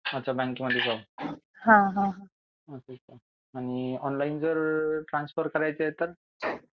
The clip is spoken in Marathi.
अच्छा बँक मध्ये जाऊन अच्छा आणि ऑनलाईन जर ट्रान्सफर करायचे आहे तर .